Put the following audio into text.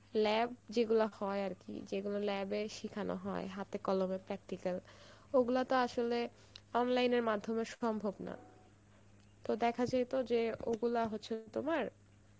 lab যেগুলো হয়ে আরকি যেগুলো lab এ শিখানো হয়, হাতে কলমে practical অগুলা তো আসলে online এর মাধ্যমে সম্ভব না, তো দেখা যাইতো যে, ওগুলো হচ্ছে তোমার